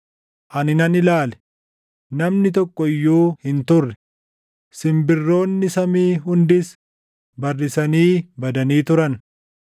Ani nan ilaale; namni tokko iyyuu hin turre; simbirroonni samii hundis barrisanii badanii turan.